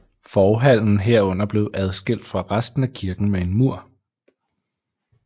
Forhallen herunder blev adskilt fra resten af kirken med en mur